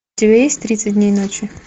у тебя есть тридцать дней ночи